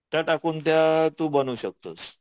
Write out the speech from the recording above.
त्या टाकून तू त्या बनवू शकतोस.